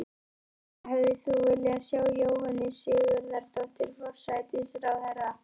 Helga: Hefðir þú viljað sjá Jóhönnu Sigurðardóttur, forsætisráðherra?